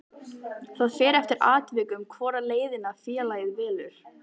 Það fer eftir atvikum hvora leiðina félagið velur.